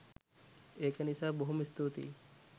ඒක නිසා බොහොම ස්තුතියි